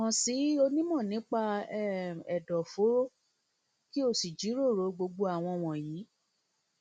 kàn sí onímọ nípa um ẹdọfóró kí o sì jíròrò gbogbo àwọn wọnyí